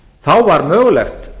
þá var mögulegt